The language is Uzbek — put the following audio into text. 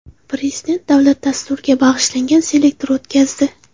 Prezident davlat dasturiga bag‘ishlangan selektor o‘tkazdi.